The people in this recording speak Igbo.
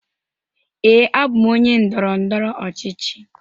Ee, abụ m onye ndọrọ ndọrọ ọchịchị.